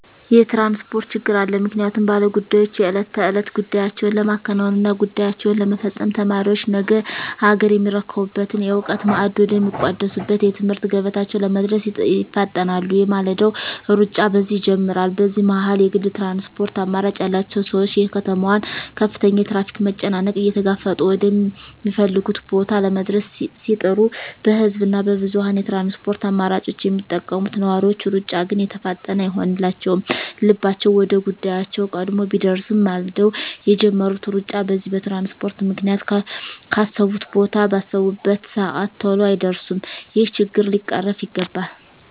የትራንስፖርት ችግር አለ ምክንያቱም ባለ ጉዳዮች የእለት ተእለት ጉዳያቸዉን ለማከናወን እና ጉዳያቸዉን ለመፈፀም፣ ተማሪዎች ነገ አገርየሚረከቡበትን የእዉቀት ማዕድ ወደ ሚቋደሱበት የትምህርት ገበታቸዉ ለመድረስ ይፋጠናሉ የማለዳዉ ሩጫ በዚህ ይጀምራል በዚህ መሀል የግል ትራንስፖርት አማራጭ ያላቸዉ ሰዎች የከተማዋን ከፍተኛ የትራፊክ መጨናነቅ እየተጋፈጡ ወደ ሚፈልጉት ቦታ ለመድረስ ሲጥሩ በህዝብ እና በብዙኀን የትራንስፖርት አማራጮች የሚጠቀሙ ነዋሪዎች ሩጫ ግን የተፋጠነ አይሆንላቸዉም ልባቸዉ ወደ ጉዳያቸዉ ቀድሞ ቢደርስም ማልደዉ የጀመሩት ሩጫ በዚህ በትራንስፖርት ምክንያት ካሰቡት ቦታ ባሰቡበት ሰአት ተሎ አይደርሱም ይሄ ችግር ሊቀረፍ ይገባል